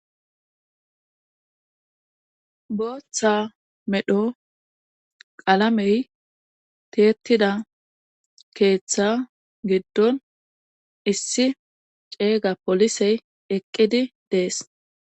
Booththa medho qalamey tiettida keeththa giddon issi ceega polisey eqqidi dees